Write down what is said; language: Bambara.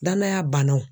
Danaya bannaw